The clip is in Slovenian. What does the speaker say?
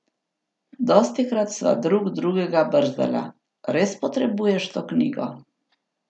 Dostikrat sva drug drugega brzdala: "Res potrebuješ to knjigo?